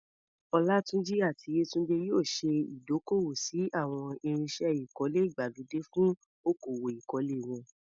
Olatunji àti Yetunde yóò ṣe ìdókòwò sí àwọn irinṣẹ́ ìkọ́lé ìgbàlódé fún okòwò ìkọ́lé wọn.